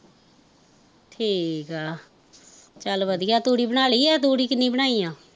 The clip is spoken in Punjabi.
ਠੀਕ ਆ ਚੱਲ ਵਧੀਆ ਤੂੜੀ ਬਣਾ ਲਈ ਆ ਤੂੜੀ ਕਿੰਨੀ ਬਣਾਈ ਆ